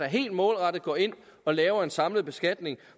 helt målrettet går ind og laver en samlet beskatning